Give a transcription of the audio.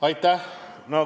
Aitäh!